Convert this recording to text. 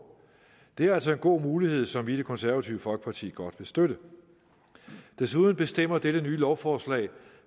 det er altså en god mulighed som vi i det konservative folkeparti godt vil støtte desuden bestemmer dette nye lovforslag